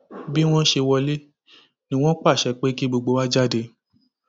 bí wọn ṣe wọlé ni wọn pàṣẹ pé kí gbogbo wa jáde